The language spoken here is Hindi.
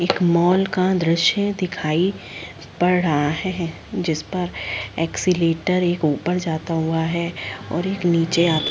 एक मॉल का दृशय दिखाई पड़ रहा है जिसपर एक्ससीलेटर एक ऊपर जाता हुआ है और एक नीचे आता हुआ --